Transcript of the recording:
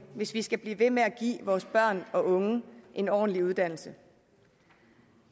hvis vi skal blive ved med at give vores børn og unge en ordentlig uddannelse